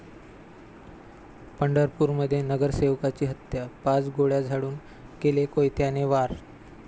पंढरपूरमध्ये नगरसेवकाची हत्या, पाच गोळ्या झाडून केले कोयत्याने वार